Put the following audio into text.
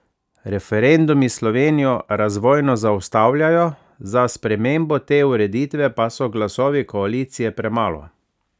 Referendumi Slovenijo razvojno zaustavljajo, za spremembo te ureditve pa so glasovi koalicije premalo.